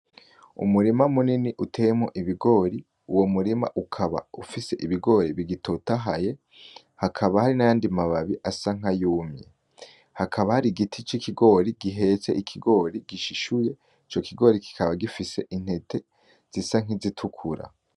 Umurima munini uteyemwo ibigori uwo murima ukaba ufise ibigori bitotahaye hakaba hari n'ayandi mababi asa nkayumye hakaba hari igiti c'ikigori gihetse ikigori gishishuye ico kigori kikaba gifise intete zisa nk'izitukura.